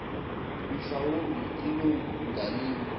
mhlawumbi ilungu ngalinye